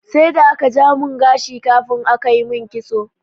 Sai da aka ja mun gashi kafin aka yi mun kitso.